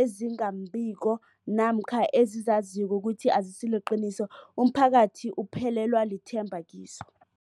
ezinga nembiko namkha ezizaziko ukuthi azisiliqiniso, umphakathi uphelelwa lithemba kizo.